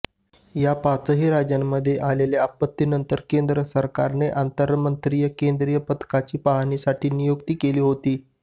या पाचही राज्यांमध्ये आलेल्या आपत्तीनंतर केंद्र सरकारने आंतरमंत्रीय केंद्रीय पथकाची पाहणीसाठी नियुक्ती केली होती